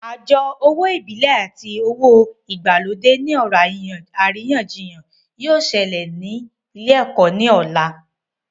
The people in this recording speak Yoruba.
Àjọ owó ìbílẹ̀ àti àjọ owó ìgbàlódé ní ọ̀rọ̀ àríyànjiyàn yóò sẹlẹ̀ lé lórí ní ọ̀la